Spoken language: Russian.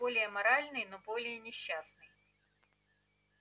более моральный но более несчастный